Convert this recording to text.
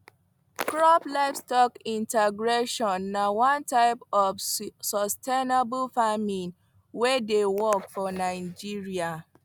crop livestock integration na one type of sustainable farming wey dey work for nigeria